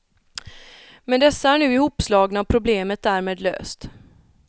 Men dessa är nu ihopslagna och problemet därmed löst.